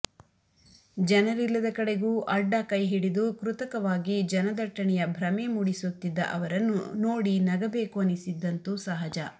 ಜನರಿಲ್ಲದ ಕಡೆಗೂ ಅಡ್ಡ ಕೈಹಿಡಿದು ಕೃತಕವಾಗಿ ಜನದಟ್ಟಣೆಯ ಭ್ರಮೆ ಮೂಡಿಸುತ್ತಿದ್ದ ಅವರನ್ನು ನೋಡಿ ನಗಬೇಕು ಅನಿಸಿದ್ದಂತೂ ಸಹಜ